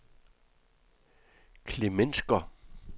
Klemensker